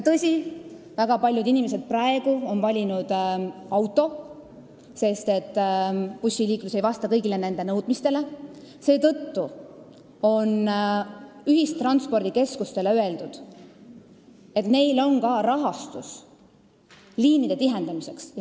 Tõsi, väga paljud inimesed on praegu valinud auto, sest bussiliiklus ei vasta kõigile nende nõudmistele, seetõttu on ühistranspordikeskustele öeldud, et neil on olemas ka rahastus liinide tihendamiseks.